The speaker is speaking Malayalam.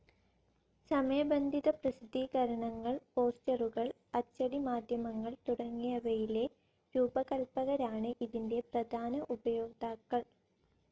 സമയബന്ധിത പ്രസിദ്ധീകരണങ്ങൾ, പോസ്റ്ററുകൾ, അച്ചടി മാധ്യമങ്ങൾ തുടങ്ങിയവയിലെ രൂപകൽപ്പകരാണ് ഇതിന്റെ പ്രധാന ഉപയോക്താക്കൾ.